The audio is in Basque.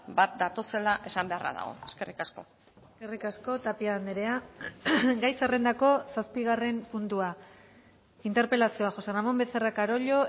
bat datozela esan beharra dago eskerrik asko eskerrik asko tapia andrea gai zerrendako zazpigarren puntua interpelazioa josé ramón becerra carollo